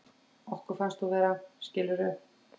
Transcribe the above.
Okkur finnst þú vera, skilurðu.